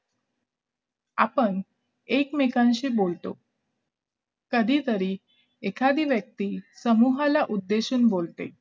आपण एकमेकांशी बोलतो कधीतरी एखादी व्यक्ती समूहाला उद्देशून बोलते